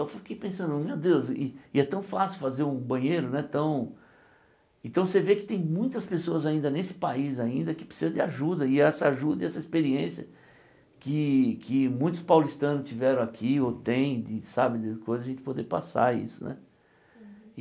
Eu fiquei pensando, meu Deus, e e é tão fácil fazer um banheiro, não é tão... Então você vê que tem muitas pessoas ainda nesse país, ainda, que precisam de ajuda, e essa ajuda e essa experiência que que muitos paulistanos tiveram aqui, ou têm, de sabe,, a gente poder passar isso, né?